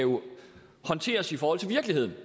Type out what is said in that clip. håndteres i forhold til virkeligheden